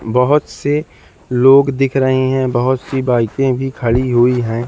बहोत से लोग दिख रहे हैं बहोत सी बाइके भी खड़ी हुई हैं।